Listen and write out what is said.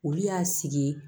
Olu y'a sigi ye